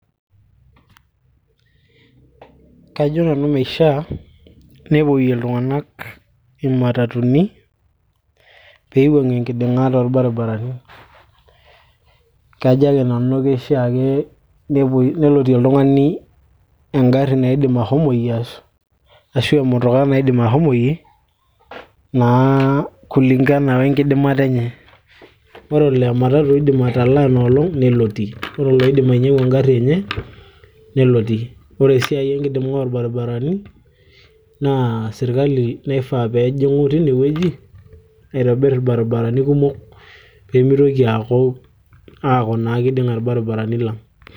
kajo nanu meishia nepoyie iltung'anak imatatuni peiwuang'ie enkinding'a torbaribarani kajo ake nanu kishaa ake nelotie oltung'ani engarri naidim ahomoyie ashu emutukaa naidim ahomoyie naa kulingana wenkidimata enye ore olaa ematatu iidim atalaa inoloong nelotie ore oloidim ainyi'angu engarri enye nelotie ore esiai enkiding'a orbaribarani naa sirkali naifaa peejing'u tinewueji aitobirr irbaribarani kumok peemitoki aaku aku naa kiding'a irbaribarani lang